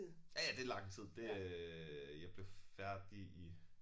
Ja ja det lang tid det øh jeg blev færdig i